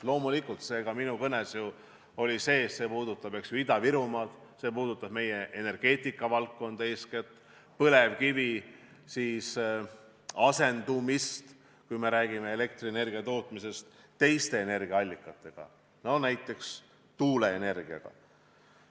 Loomulikult, minu kõnes oli see ka sees, et see puudutab ju Ida-Virumaad, see puudutab eeskätt meie energeetikavaldkonda, põlevkivi asendamist teiste energiaallikatega, näiteks tuuleenergiaga.